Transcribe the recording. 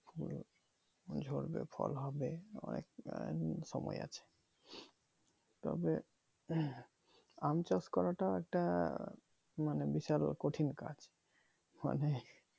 ফুল ঝাড়বে ফল হবে অনেকটা সময় আছে তবে আম চাষ করাটা একটা মানে বিশাল কঠিন কাজ মানে